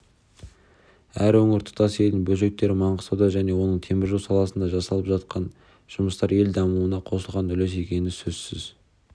әр өңір тұтас елдің бөлшектері маңғыстауда оның темір жол саласында жасалып жатқан жұмыстар ел дамуына қосылған үлес екен сөзсіз